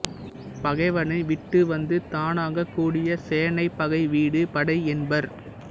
பகைவனை விட்டு வந்து தானாகக் கூடிய சேனை பகை விடு படை என்பர்